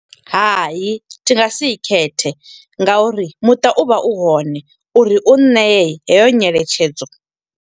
Hai, thi nga si i khethe nga uri muṱa u vha u hone, uri u ṋeye heyo nyeletshedzo.